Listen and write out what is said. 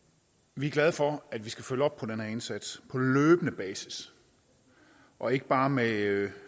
vi er glade for at vi skal følge op på den her indsats på løbende basis og ikke bare med